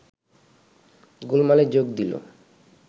গোলমালে যোগ দিল